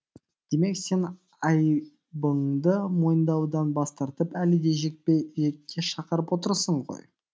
демек сен айыбыңды мойындаудан бас тартып әлі де жекпе жекке шақырып отырсың ғой